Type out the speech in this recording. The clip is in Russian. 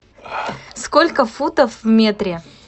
сколько футов в метре